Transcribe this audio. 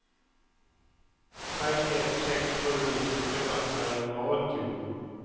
tre ett sex sju nittiofyra trehundraåttio